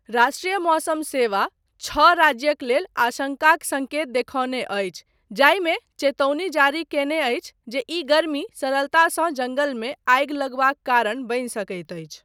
राष्ट्रीय मौसम सेवा छः राज्यक लेल आशंकाक सङ्केत देखौने अछि जाहिमे चेतौनी जारी कयने अछि जे ई गर्मी सरलतासँ जङ्गलमे आगि लगबाक कारण बनि सकैत अछि।